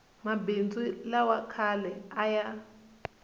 mabindzu lawa khale a ya